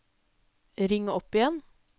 ring opp igjen